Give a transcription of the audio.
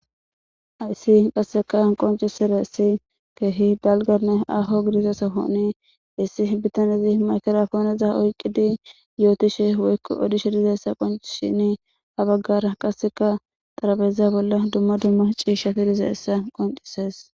Haysan qasseka qoncisere si keehi balgane aho gidiza sahoni issi bitanezi makerapooneza oyqqidi yootishe hwoykku odishe dizeyssa qonci shini habaggara qasseka xarabeza bolla dumma dumma ciishsha fi dizaessa qoncises